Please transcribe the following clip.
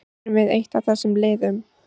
Erum við eitt af þessum liðum?